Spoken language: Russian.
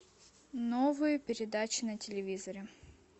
новые передачи на телевизоре